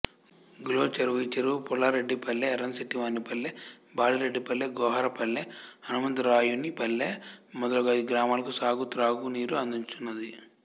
go చెరువు ఈ చెరువు పులారెడ్డిపల్లె యర్రంశెట్టివానిపల్లె బాలిరెడ్డిపల్లె గోహరపల్లె హనుమంతరాయునిపల్లె మొదలగు ఐదు గ్రామాలకు సాగు త్రాగునీరు అందించుచున్నది